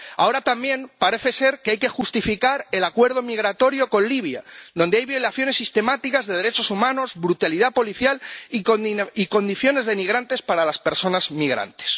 Ahora también parece ser que hay que justificar el Acuerdo de Cooperación Migratoria con Libia, donde hay violaciones sistemáticas de derechos humanos, brutalidad policial y condiciones denigrantes para las personas migrantes.